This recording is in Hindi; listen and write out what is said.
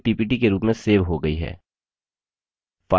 file और close पर क्लिक करके file को बंद करें